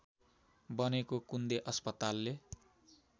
बनेको कुन्दे अस्पतालले